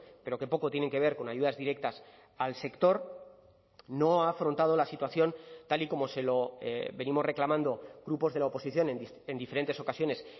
pero que poco tienen que ver con ayudas directas al sector no ha afrontado la situación tal y como se lo venimos reclamando grupos de la oposición en diferentes ocasiones